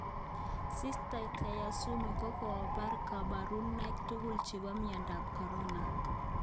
Sita Tyasutami kokobor koborunoik tugul chebo miondap corona